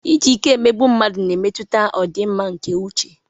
Iji ike emegbu mmadụ na-emetụta ọdịmma nke uche.